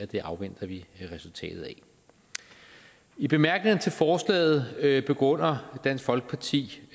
det afventer vi resultatet af i bemærkningerne til forslaget begrunder dansk folkeparti